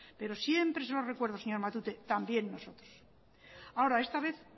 pero siempre se lo recuerdo señor matute también nosotros ahora esta vez